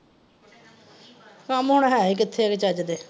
ਕੱਮ ਹੁਣ ਹੈ ਈ ਕਿੱਥੇ ਵੇ ਚੱਜ ਦੇ।